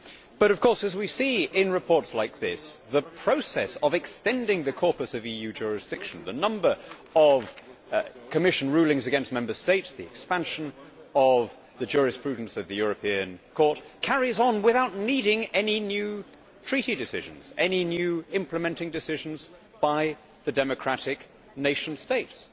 But of course, as we see in reports like this, the process of extending the corpus of EU jurisdiction the number of Commission rulings against Member States, the expansion of the jurisprudence of the European Court carries on without needing any new Treaty decisions, any new implementing decisions by the democratic nation states.